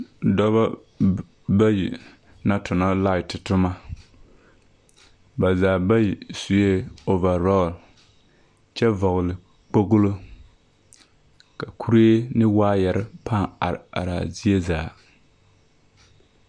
Dɔbɔ b bayi na tonɔ laet toma. Ba zaa bayi sue ovarɔɔl kyɛ vɔgele kpoglo. Ka kure ne waayɛre pãã are araa zie zaa.